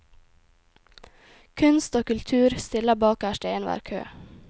Kunst og kultur stiller bakerst i enhver kø.